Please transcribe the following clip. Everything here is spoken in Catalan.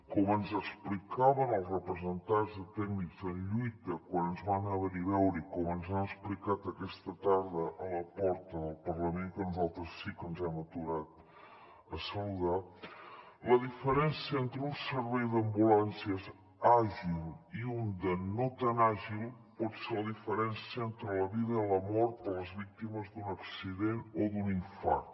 com ens explicaven els representants de tècnics en lluita quan ens van venir a veure i com ens han explicat aquesta tarda a la porta del parlament que nosaltres sí que ens hem aturat a saludar la diferència entre un servei d’ambulàncies àgil i un de no tan àgil pot ser la diferència entre la vida i la mort per les víctimes d’un accident o d’un infart